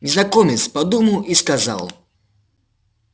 незнакомец подумал и сказал